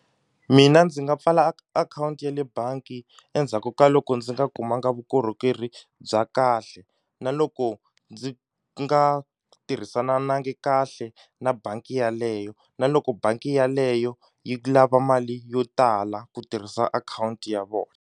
Mina ndzi nga pfala akhawunti ya le bangi endzhaku ka loko ndzi nga kumanga vukorhokeri bya kahle na loko ndzi nga tirhisananangi kahle na bangi yaleyo na loko bangi yaleyo yi lava mali yo tala ku tirhisa akhawunti ya vo.